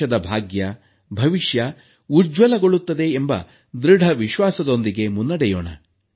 ದೇಶದ ಭಾಗ್ಯ ಭವಿಷ್ಯ ಉಜ್ವಲಗೊಳ್ಳುತ್ತದೆ ಎಂಬ ದೃಢ ವಿಶ್ವಾಸದೊಂದಿಗೆ ಮುನ್ನಡೆಯೋಣ